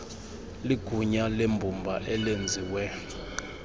ligunya lembumba elenziwe